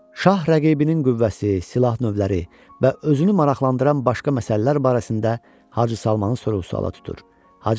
Şah rəqibinin qüvvəsi, silah növləri və özünü maraqlandıran başqa məsələlər barəsində Hacı Salmana suala tutur.